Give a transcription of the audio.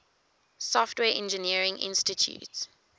software engineering institute